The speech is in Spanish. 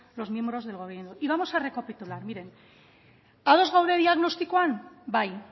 los miembros del gobierno y vamos a recapitular miren ados gaude diagnostikoan bai